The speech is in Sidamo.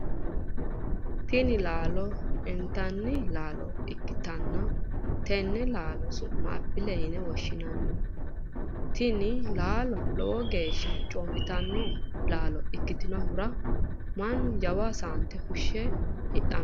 Tinni laallo intanni laalo ikitanna tenne laalo su'mi apilete yinne woshinnanni. Tinni laalo lowo geesha coomitanno laalo ikitinohura mannu jawa saante fushe hidhano.